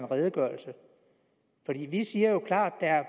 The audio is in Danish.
en redegørelse vi siger jo klart at